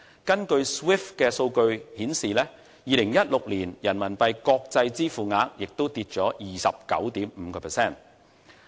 根據 SWIFT 數據顯示 ，2016 年人民幣國際支付額下跌了 29.5%。